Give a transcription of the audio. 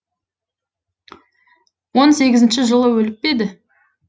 он сегізінші жылы өліп еді